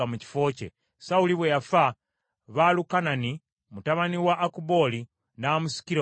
Sawuli bwe yafa, Baalukanani mutabani wa Akubooli n’afuga mu kifo kye.